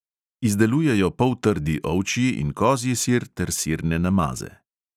Izdelujejo poltrdi ovčji in kozji sir ter sirne namaze.